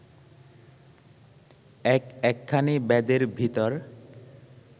এক একখানি বেদের ভিতর